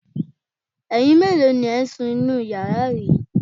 Ẹyin mélòó ni ẹ̀ ń sun inú yàrá yìí?